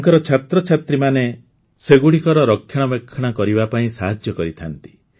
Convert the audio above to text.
ତାଙ୍କର ଛାତ୍ରଛାତ୍ରୀମାନେ ସେଗୁଡ଼ିକର ରକ୍ଷଣାବେକ୍ଷଣ କରିବା ପାଇଁ ସାହାଯ୍ୟ କରିଥାନ୍ତି